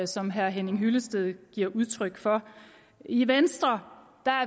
som herre henning hyllested her giver udtryk for i venstre er